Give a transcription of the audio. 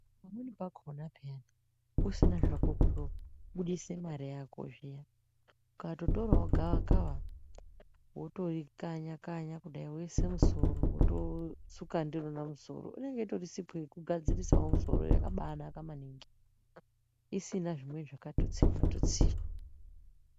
Pamweni pakona peyani usina hako kundobudisa mare yako zviya ukatotorawo gavakava wotori kanya kanya woisa musoro wotosuka ndirona musoro inge itori sipo yakabainaka isina zvimweni zvakatitsirwa tutsirwa.